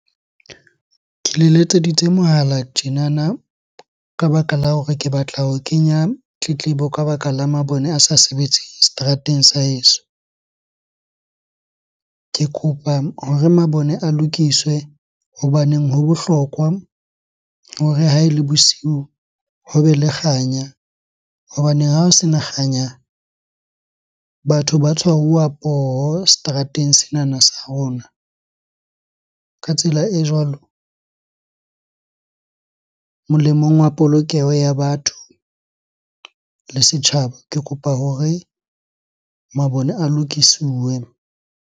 Ke le letseditse mohala tjenana ka baka la hore ke batla ho kenya tletlebo ka baka la mabone a sa sebetseng seterateng sa heso. Ke kopa hore mabone a lokiswe hobaneng ho bohlokwa hore ha ele bosiu hobe le kganya. Hobaneng ha o sena kganya, batho ba tshwaruwa poho seterateng senana sa rona. Ka tsela e jwalo, molemong wa polokeho ya batho le setjhaba. Ke kopa hore mabone a lokisiwe.